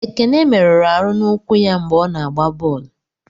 Ekene merụrụ Aru n'ụkwụ ya mgbe ọ na-agba bọọlụ.